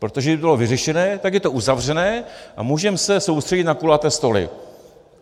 Protože kdyby to bylo vyřešené, tak je to uzavřené, a můžeme se soustředit na kulaté stoly.